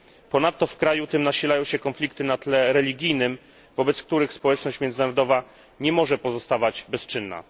Ponadto w kraju tym nasilają się konflikty na tle religijnym, wobec których społeczność międzynarodowa nie może pozostawać bezczynna.